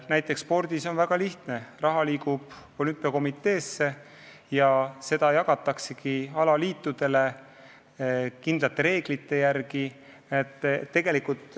Näiteks spordis on väga lihtne: raha liigub olümpiakomiteesse ja seda jagatakse alaliitudele kindlate reeglite järgi.